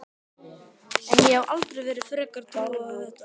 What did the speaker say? En ég hef alltaf verið frekar trúuð á þetta.